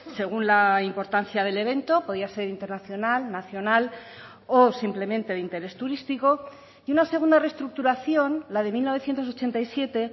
según la importancia del evento podía ser internacional nacional o simplemente de interés turístico y una segunda restructuración la de mil novecientos ochenta y siete